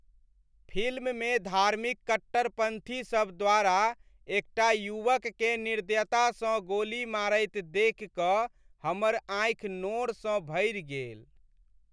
फिल्ममे धार्मिक कट्टरपन्थी सभ द्वारा एकटा युवककेँ निर्दयतासँ गोली मारैत देखि कऽ हमर आँखि नोरसँ भरि गेल।